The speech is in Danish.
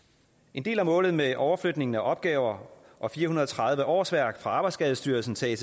en del af målet med overflytningen af opgaver og fire hundrede og tredive årsværk fra arbejdsskadestyrelsen til